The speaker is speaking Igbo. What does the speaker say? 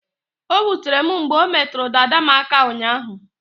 O wutere m mgbe o metụrụ dada m aka ụnyaahụ